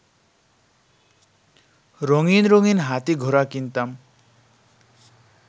রঙিন রঙিন হাতি-ঘোড়া কিনতাম